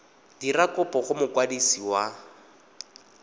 dira kopo go mokwadisi wa